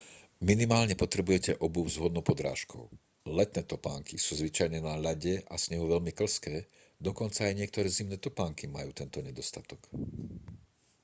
minimálne potrebujete obuv s vhodnou podrážkou letné topánky sú zvyčajne na ľade a snehu veľmi klzké dokonca aj niektoré zimné topánky majú tento nedostatok